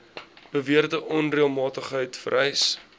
beweerde onreëlmatigheid vereis